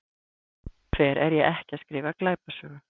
Sem betur fer er ég ekki að skrifa glæpasögu.